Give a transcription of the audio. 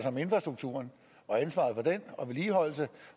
om infrastrukturen og ansvaret for den og vedligeholdelse